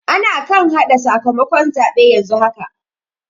Ana kan haɗa sakamakon zaɓe yanzu haka.